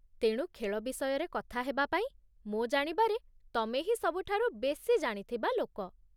ତେଣୁ ଖେଳ ବିଷୟରେ କଥା ହେବାପାଇଁ, ମୋ ଜାଣିବାରେ ତମେ ହିଁ ସବୁଠାରୁ ବେଶୀ ଜାଣିଥିବା ଲୋକ